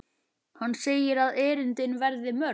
Hann segir að erindin verði mörg.